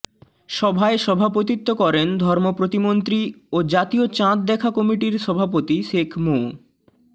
সভায় সভাপতিত্ব করেন ধর্ম প্রতিমন্ত্রী ও জাতীয় চাঁদ দেখা কমিটির সভাপতি শেখ মো